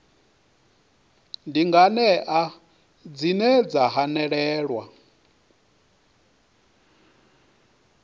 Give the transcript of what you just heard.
ndi nganea dzine dza hanelelwa